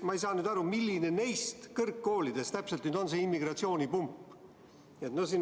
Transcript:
Ma ei saa aru, milline neist kõrgkoolidest täpselt nüüd see immigratsioonipump on.